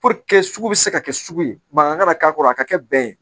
sugu bɛ se ka kɛ sugu ye mankan kana k'a kɔrɔ a ka kɛ bɛn ye